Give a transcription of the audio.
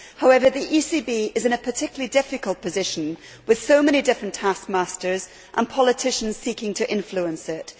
However, the ECB is in a particularly difficult position, with so many different taskmasters and politicians seeking to influence it.